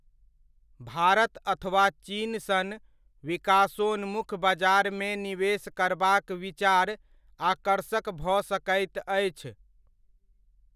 भारत अथवा चीन सन विकासोन्मुख बजारमे निवेश करबाक विचार आकर्षक भऽ सकैत अछि।